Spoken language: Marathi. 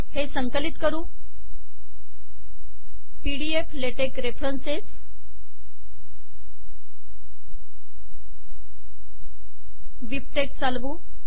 हे संकलित करू pdf latex रेफरन्स बिबटेक्स चालवू